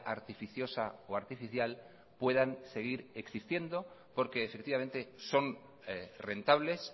artificiosa o artificial puedan seguir existiendo porque efectivamente son rentables